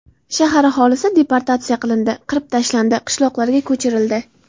Shahar aholisi deportatsiya qilindi, qirib tashlandi, qishloqlarga ko‘chirildi.